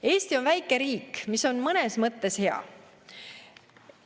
Eesti on väike riik, mis on mõnes mõttes hea.